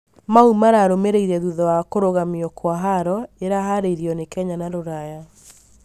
mau mararũmĩrĩire thutha wa kũrũgamio kwa haaro iraharĩrĩirio nĩ Kenya na rũraya